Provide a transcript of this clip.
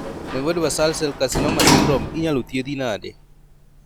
nevoid basal cell carcinoma syndrome inyalo thiedhi nade